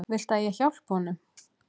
Viltu að ég hjálpi honum?